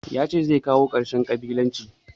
Ya ce zai kawo ƙarshen ƙabilanci.